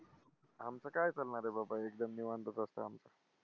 आमचं काय चालणारे बाबा एकदम निवांतच असतं आमचं.